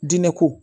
Diinɛ ko